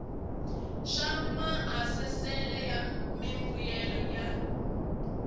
swa maasesele ya mimbuyelo ya